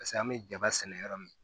Paseke an bɛ jaba sɛnɛ yɔrɔ min